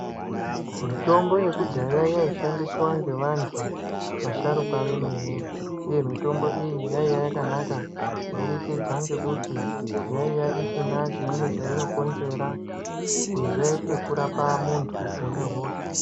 Mitombo yekudhaya yaishandiswa nevantu vasharukwa vemene uye mitombo iyi yaiya yakanaka kuburikidza ngekuti yaiya isina chimweni chainokonzera kunze kwekurapa muntu unehosha.